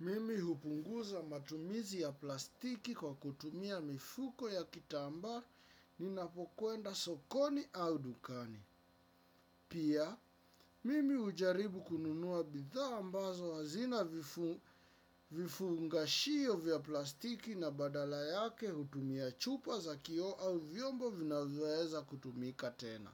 Mimi hupunguza matumizi ya plastiki kwa kutumia mifuko ya kitambaa ninapokwenda sokoni au dukani. Pia, mimi hujaribu kununua bidhaa ambazo hazina vifungashio vya plastiki na badala yake hutumia chupa za kioo au vyombo vinavyoweza kutumika tena.